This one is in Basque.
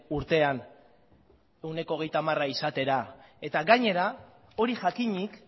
urtean ehuneko hogeita hamara izatera eta gainera hori jakinik